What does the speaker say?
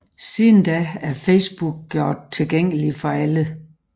Siden da er Facebook gjort tilgængelig for alle